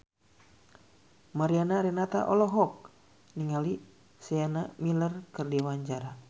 Mariana Renata olohok ningali Sienna Miller keur diwawancara